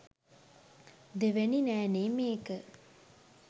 දෙවැනි නෑනේ මේක